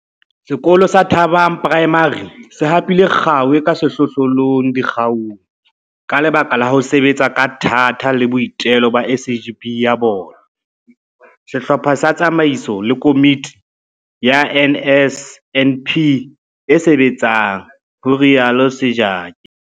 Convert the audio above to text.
Sekolo sa Thabang Primary se hapile kgao e ka sehlohlolong dikgaong ka lebaka la ho sebetsa ka thata le boitelo ba SGB ya sona, sehlopha sa tsamaiso le komiti ya NSNP e sebetsang, ho rialo Sejake.